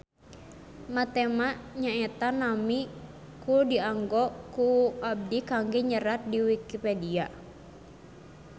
Matema nyaeta nami ku dianggo ku abi kangge nyerat di Wikipedia